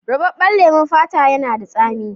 Rubabben lemon fata yana da tsami.